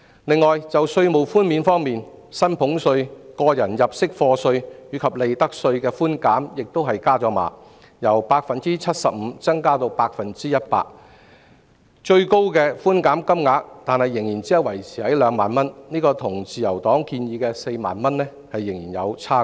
此外，在稅務寬免方面，薪俸稅、個人入息課稅及利得稅的寬免額亦上調，由 75% 增至 100%， 但最高寬減金額只維持在2萬元，與自由黨建議的4萬元仍有差距。